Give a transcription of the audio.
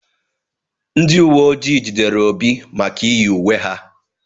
Ndị uwe ojii jidere Obi maka iyi uwe ha.